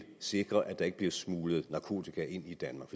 sikre at der ikke bliver smuglet narkotika ind i danmark